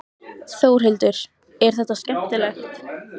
Þórhildur: Er þetta skemmtilegt?